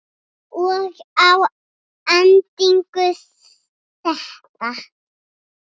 Og að endingu þetta.